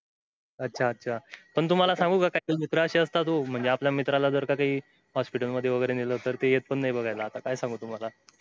अच्छा अच्छा पण तुम्हाला सांगू का काय काय मित्र अशे असतात ओ आपल्या मित्राला जर का काई hospital मध्ये वैगेरे नेल तर ते येत पण नाही बघायला आता काय सागू तुम्हाला